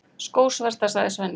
Skósverta, sagði Svenni.